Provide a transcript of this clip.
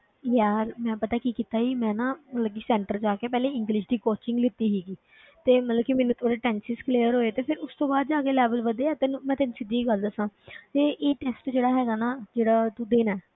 ਯਾਰ ਮੈਂ ਪਤਾ ਕੀ ਕੀਤਾ ਸੀ, ਮੈਂ ਨਾ ਮਤਲਬ ਕਿ center ਜਾ ਕੇ ਪਹਿਲੇ english ਦੀ coaching ਲਿੱਤੀ ਸੀਗੀ ਤੇ ਮਤਲਬ ਕਿ ਮੈਨੂੰ ਥੋੜ੍ਹੇ tenses clear ਹੋਏ ਤੇ ਫਿਰ ਉਸ ਤੋਂ ਬਾਅਦ ਜਾ ਕੇ level ਵਧਿਆ ਤੈਨੂੰ ਮੈਂ ਤੈਨੂੰ ਸਿੱਧੀ ਜਿਹੀ ਗੱਲ ਦੱਸਾਂ ਤੇ ਇਹ test ਜਿਹੜਾ ਹੈਗਾ ਨਾ, ਜਿਹੜਾ ਤੂੰ ਦੇਣਾ ਹੈ,